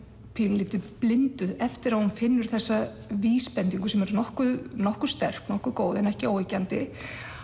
pínulítið blinduð eftir að hún finnur þessa vísbendingu sem er nokkuð nokkuð sterk nokkuð góð en ekki óyggjandi